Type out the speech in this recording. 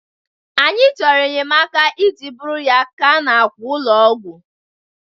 anyị chọrọ enyemaka iji buru ya gaa n'àkwà ụlọ ọgwụ